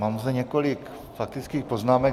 Mám zde několik faktických poznámek.